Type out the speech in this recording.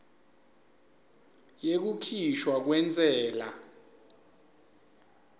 yekukhishwa kwentsela